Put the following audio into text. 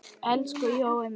Elsku Jói minn.